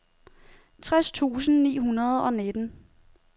tres tusind ni hundrede og nitten